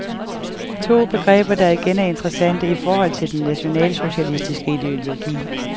To begreber, der igen er interessante i forhold til den nationalsocialistiske ideologi.